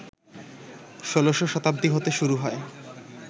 ১৬শ শতাব্দী হতে শুরু হয়